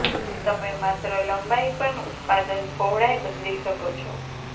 તમે માત્ર લંબાઈ પણ ઉત્પાદન પહોળાઇ બદલી શકો છો